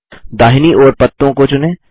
दाहिनी ओर पत्तों को चुनें